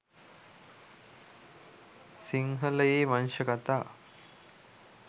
සිංහලයේ වංශ කථා